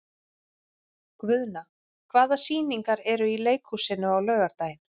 Guðna, hvaða sýningar eru í leikhúsinu á laugardaginn?